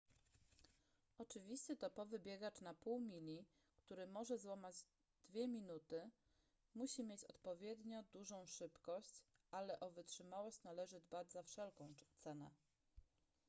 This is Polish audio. oczywiście topowy biegacz na pół mili który może złamać dwie minuty musi mieć odpowiednio dużą szybkość ale o wytrzymałość należy dbać za wszelką cenę